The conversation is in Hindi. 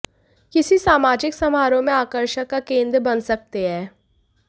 किसी समाजिक समारोह में आकर्षण का केंद्र बन सकते हैं